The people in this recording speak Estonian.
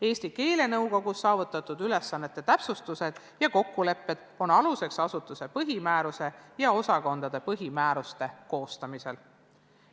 Eesti keelenõukogus saavutatud ülesannete täpsustused ja kokkulepped on aluseks asutuse põhimääruse ja osakondade põhimääruste koostamisel.